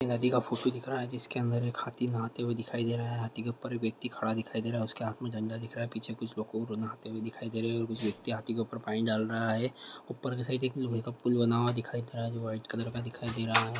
हाथी का फोटो दिखाई दे रहा है जिसके अंदर एक हाथी नहाते हुए दिखाई दे रहा है हाथी के ऊपर एक व्यक्ति खड़ा दिखाई दे रहा है उसके हाथ मे दंड दिखाई दे रहा है पीछे कुछ लोको नहाते हुए दिखाई दे रहे है और कुछ व्यक्ति हाथी के ऊपर पनि डाल रहा है ऊपर की साइड एक पूल दिखाई दे रहा है जो व्हीट कलर का दिखाई दे रहा है।